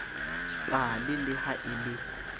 dipale le ha e le